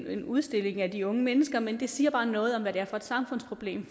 en udstilling af de unge mennesker men det siger bare noget om hvad det er for et samfundsproblem